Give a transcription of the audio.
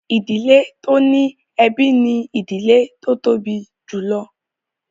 Ìdílé tó ní ẹbí ni ìdílé tó tóbi jùlọ